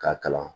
K'a kalan